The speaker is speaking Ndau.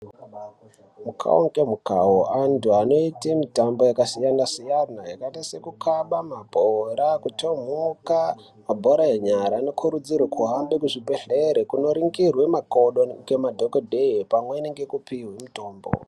Mikavo ngemikavo antu anoita mitambo yakasiyana-siyana yakaita sekukaba mabhora, kutomwuka mabhora enyara. Anokurudzirwa kuhambe kuzvibhedhlera kunoringirwe makodo ngema dhogodheye pamweni ngekupihwe mutombo.